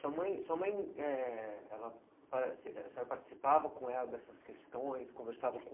Sua mãe sua mãe eh ela participava com ela dessas questões, conversava